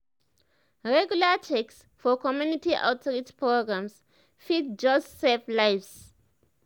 regular checks for community outreach programs fit just save lives.